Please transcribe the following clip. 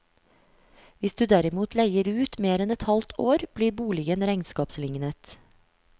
Hvis du derimot leier ut mer enn et halvt år, blir boligen regnskapslignet.